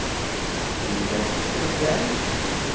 Sivert Edberg